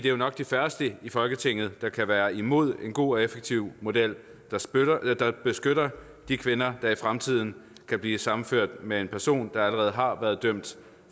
er nok de færreste i folketinget der kan være imod en god og effektiv model der beskytter de kvinder der i fremtiden kan blive sammenført med en person der allerede har været dømt